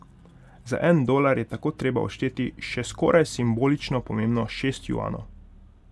Za en dolar je tako treba odšteti še skoraj simbolično pomembnih šest juanov.